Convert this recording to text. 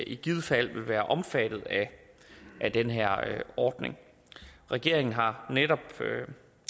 i givet fald vil være omfattet af den her ordning regeringen har netop